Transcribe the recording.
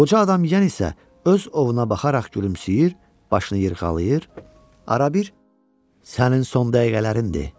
Qoca adam yan isə öz ovuna baxaraq gülümsəyir, başını yırğalayır, arabir “Sənin son dəqiqələrindir.